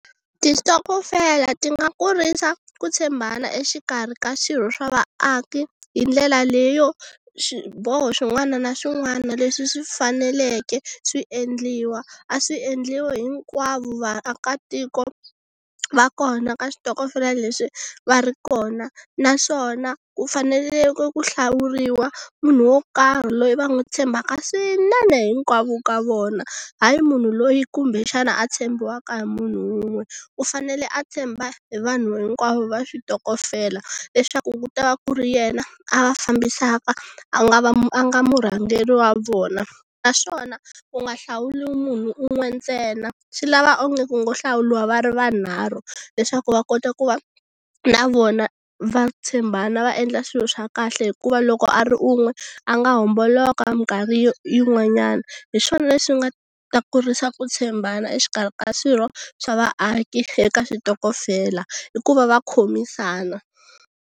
Tistokofela ti nga kurisa ku tshembana exikarhi ka swirho swa vaaki hi ndlela leyo swiboho swin'wana na swin'wana leswi swi faneleke swi endliwa a swi endliwi hinkwavo vaakatiko va kona ka xitokofela lexi va ri kona naswona ku faneleke ku hlawuriwa munhu wo karhi loyi va n'wi tshembaka swinene hinkwavo ka vona hayi munhu loyi kumbe xana a tshembiwaka hi munhu wun'we u fanele a tshemba hi vanhu hinkwavo va switokofela leswaku ku ta va ku ri yena a va fambisaka a nga va a nga murhangeri wa vona naswona ku nga hlawuliwi munhu un'we ntsena swi lava onge ku ngo hlawuliwa va ri vanharhu leswaku va kota ku va na vona va tshembana va endla swilo swa kahle hikuva loko a ri un'we a nga homboloka minkarhi yin'wanyana. Hi swona leswi nga ta kurisa ku tshembana exikarhi ka swirho swa vaaki eka switokofela hi ku va va khomisana.